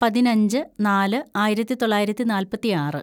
പതിനഞ്ച് നാല് ആയിരത്തിതൊള്ളായിരത്തി നാല്‍പത്തിയാറ്‌